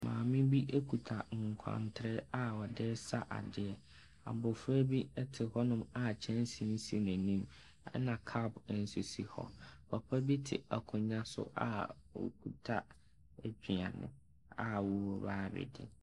Maame bi ekuta kwantere a ɔde ɛsa adeɛ. Abofra bi ɛte hɔnom a kyɛnse si n'anim. Ɛna kap nso si hɔ. Papa bi te akonwa so a okita aduane a ɔba abedi.